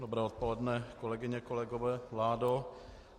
Dobré odpoledne, kolegyně, kolegové, vládo.